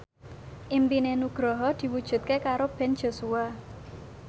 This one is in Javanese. impine Nugroho diwujudke karo Ben Joshua